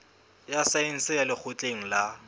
ya saense ya lekgotleng la